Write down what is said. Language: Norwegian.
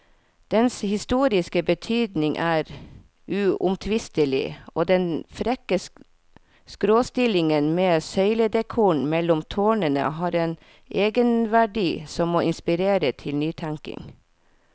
Dens historiske betydning er uomtvistelig, og den frekke skråstillingen med søyledekoren mellom tårnene har en egenverdi som må inspirere til nytenkning.